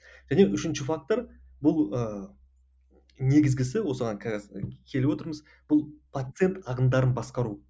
және үшінші фактор бұл ыыы негізгісі осыған келіп отырмыз бұл пациент ағымдарын басқару